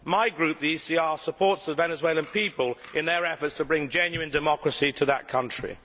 My group, the ECR, supports the Venezuelan people in their efforts to bring genuine democracy to that country.